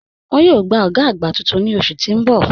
Wọ́n yòò gbà ògá àgbá tuntun ni oṣù tí n bọ̀.